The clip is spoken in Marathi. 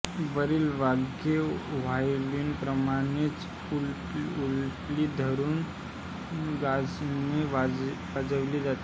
वरील वाद्ये व्हायोलिनप्रमाणेच उलटी धरुन गजाने वाजविली जातात